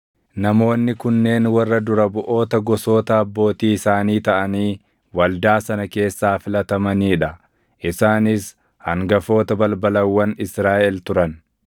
Namoonni kunneen warra dura buʼoota gosoota abbootii isaanii taʼanii waldaa sana keessaa filatamanii dha. Isaanis hangafoota balbalawwan Israaʼel turan.